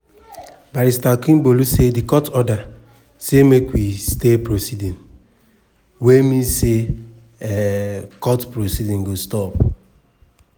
barrister akingbolu say di court order "say make we stay proceeding" wey mean say di um court proceedings go stop.